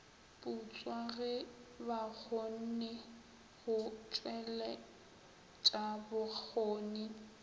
putswa ge bakgonne go tšweletšabokgoni